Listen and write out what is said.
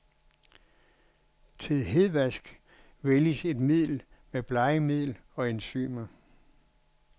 Til hedvask vælges et middel med blegemiddel og enzymer.